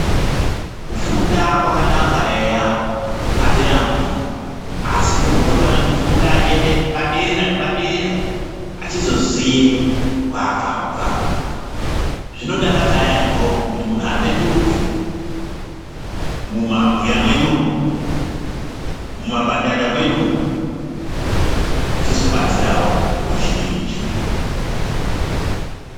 Kufunda kwakanaka eya atirambi asi muntu unofana kufunda achienda padera nepadera achizoziye kwaakabva , zvinodakadza yamho kuti muntu apetuke mumabuya mwedu umwo, mumabandanda mwedu umwo achizobatsirawo ruzhinji.